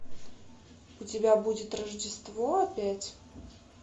у тебя будет рождество опять